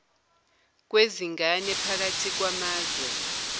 kwezingane phakathi kwamazwe